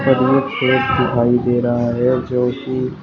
दिखाई दे रहा है जोकि--